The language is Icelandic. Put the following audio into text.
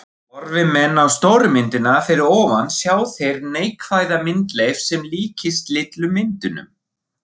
Horfi menn á stóru myndina fyrir ofan sjá þeir neikvæða myndleif sem líkist litlu myndunum.